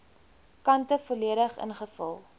kante volledig ingevul